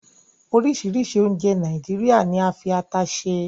Orisiirisii ounje Naijiria ni a fi ata se